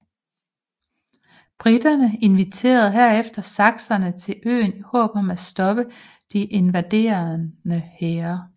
Briterne inviterede herefter sakserne til øen i håb om at stoppe de invaderende hære